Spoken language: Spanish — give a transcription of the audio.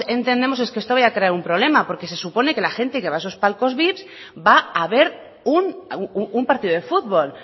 entendemos que esto vaya a crear un problema porque se supone que la gente que va a esos palcos vip va a ver un partido de fútbol